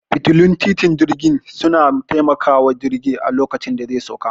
Fitilun titin jirgin suna taimakawa jirgi a lokacin da zai sauka